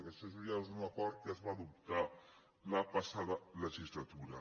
aquest ja és un acord que es va adoptar la passada legislatura